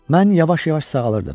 Mən yavaş-yavaş sağalırdım.